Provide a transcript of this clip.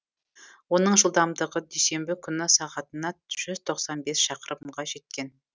оның жылдамдығы дүйсенбі күні сағатына жүз токсан бес шақырымға жеткен